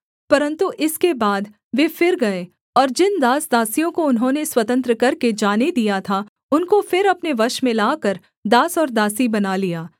परन्तु इसके बाद वे फिर गए और जिन दास दासियों को उन्होंने स्वतंत्र करके जाने दिया था उनको फिर अपने वश में लाकर दास और दासी बना लिया